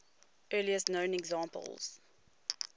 earliest known examples